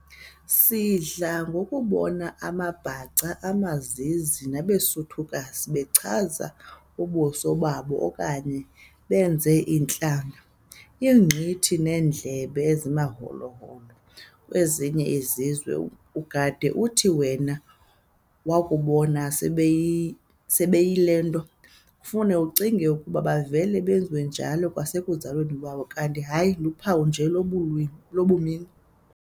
Sidla ngokubona amaBhaca, amaZizi nabeSuthukazi bechaza ubuso babo okanye benze intlangana, ingqithi neendlebe ezimaholo-holo kwezinye izizwe, ugade uthi wena wakubabona sebeyile nto, ufuman'ucinge okokuba bavele benjalo kwasekuzalweni kwabo, kanti hayi luphawu nje lwabumini.